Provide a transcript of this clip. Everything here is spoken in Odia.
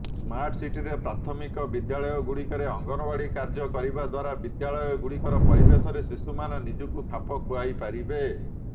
ସ୍ମାର୍ଟସିଟିରେ ପ୍ରାଥମିକ ବିଦ୍ୟାଳୟଗୁଡ଼ିକରେ ଅଙ୍ଗନୱାଡ଼ି କାର୍ଯ୍ୟ କରିବା ଦ୍ୱାରା ବିଦ୍ୟାଳୟଗୁଡ଼ିକର ପରିବେଶରେ ଶିଶୁମାନେ ନିଜକୁ ଖାପ ଖୁଆଇପାରିବେ